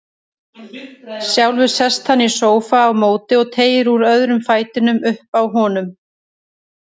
Sjálfur sest hann í sófa á móti og teygir úr öðrum fætinum uppi á honum.